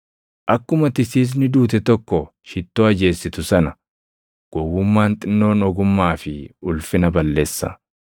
Akkuma tisiisni duute tokko shittoo ajeessitu sana gowwummaan xinnoon ogummaa fi ulfina balleessa.